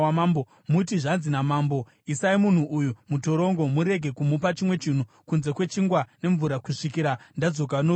muti, ‘Zvanzi namambo: Isai munhu uyu mutorongo murege kumupa chimwe chinhu kunze kwechingwa nemvura kusvikira ndadzoka norugare.’ ”